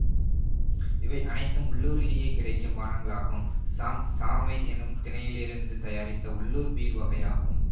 இவை அனைத்தும் உள்ளூரிலேயே கிடைக்கும் பானங்களாகும் ஷாங் சாமை என்னும் தினையிலிருந்து தயாரித்த உள்ளூர் பீர் வகையாகும்